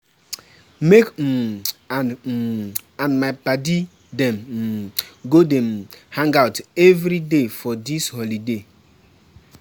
Me um and um and my paddy dem um go dey um hang-out everyday for dis holiday.